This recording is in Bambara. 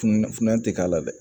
Fununa fununa tɛ k'a la dɛ